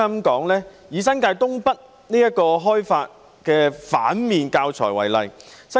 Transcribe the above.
以開發新界東北這反面教材為例。